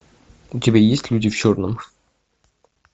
у тебя есть люди в черном